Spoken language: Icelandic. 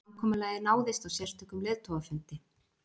Samkomulagið náðist á sérstökum leiðtogafundi